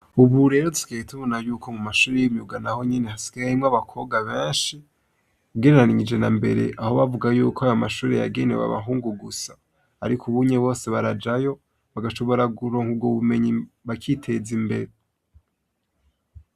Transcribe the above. Ubu rero dusigaye tubona yuko mu mashure y'imyuga naho nyene, hasigaye harimwo abakobwa benshi ugereranyije na mbere, aho bavuga yuko ari amashure yagenewe abahungu gusa. Ariko ubu bose barajayo, bagashobora kuronka ubwo bumenyi bakiteza imbere.